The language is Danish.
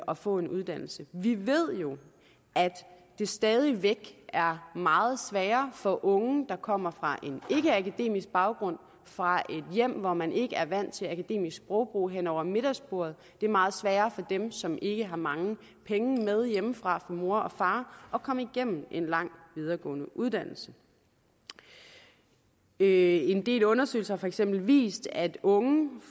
og få en uddannelse vi ved jo at det stadig væk er meget sværere for unge der kommer fra en ikkeakademisk baggrund fra et hjem hvor man ikke er vant til akademisk sprogbrug hen over middagsbordet og det er meget sværere for dem som ikke har mange penge med hjemmefra fra mor og far at komme igennem en lang videregående uddannelse en del undersøgelser har for eksempel vist at unge